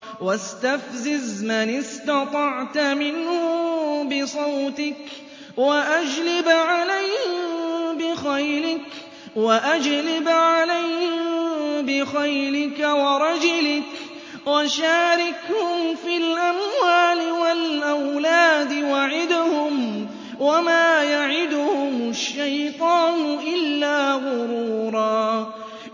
وَاسْتَفْزِزْ مَنِ اسْتَطَعْتَ مِنْهُم بِصَوْتِكَ وَأَجْلِبْ عَلَيْهِم بِخَيْلِكَ وَرَجِلِكَ وَشَارِكْهُمْ فِي الْأَمْوَالِ وَالْأَوْلَادِ وَعِدْهُمْ ۚ وَمَا يَعِدُهُمُ الشَّيْطَانُ إِلَّا غُرُورًا